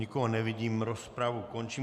Nikoho nevidím, rozpravu končím.